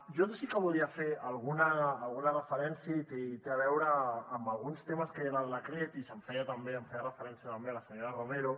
jo sí que volia fer alguna referència i té a veure amb alguns temes que hi ha en el decret i hi feia referència també la senyora romero